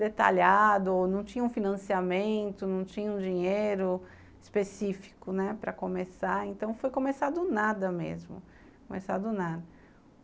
detalhado, não tinha um financiamento, não tinha um dinheiro específico, né, para começar, então foi começar do nada mesmo, começar do nada.